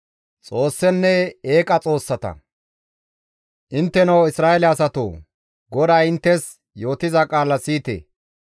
Intteno Isra7eele asatoo! GODAY inttes yootiza qaala siyite!